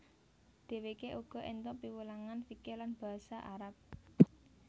Dheweke uga entuk piwulangan fikih lan basa Arab